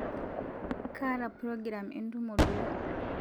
kaata progiram entumo duo